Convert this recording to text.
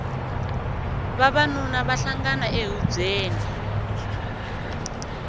vavanuna va hlangana ehubyeni